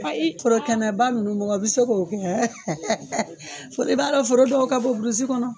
Forokɛnɛba ninnu mɔgɔ bɛ se k'o kɛ wa! Fode i b'a dɔn foro dɔw ka bɔ burisi kɔnɔ